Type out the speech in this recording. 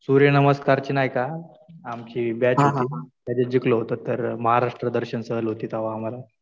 सूर्यनमस्कारची नाही का आमची बॅच होती. त्याच्यात जिंकलो होतो तर महाराष्ट्र दर्शन सहल होती तेव्हा आम्हाला.